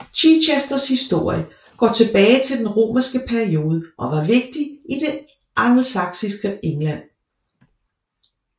Chichesters historie går tilbage til den romerske periode og var vigtig i det angelsaksiske England